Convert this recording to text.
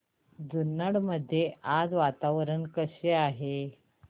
जुन्नर मध्ये आज वातावरण कसे आहे